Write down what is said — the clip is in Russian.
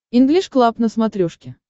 инглиш клаб на смотрешке